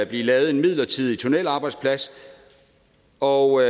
blive lavet en midlertidig tunnelarbejdsplads og